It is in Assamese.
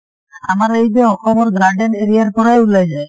আমাৰ এই যে অসমৰ garden area ৰ পৰাই ওলাই যায় ।